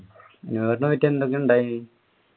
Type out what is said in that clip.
new year പോയിട്ട് എന്തൊക്കെ ഉണ്ടായിരിന്നു?